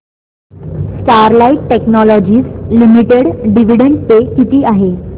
Sterlite technologies limited dividend pay किती आहे